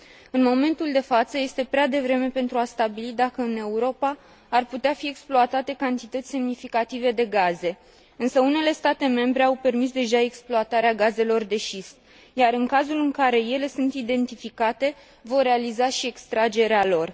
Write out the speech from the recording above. În momentul de față, este prea devreme pentru a stabili dacă în Europa ar putea fi exploatate cantități semnificative de gaze, însă unele state membre au permis deja exploatarea gazelor de șist, iar, în cazul în care ele sunt identificate, vor realiza și extragerea lor.